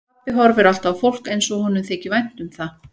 Pabbi horfir alltaf á fólk eins og honum þyki vænt um það.